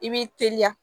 I b'i teliya